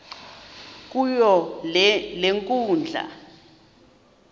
kuyo le nkundla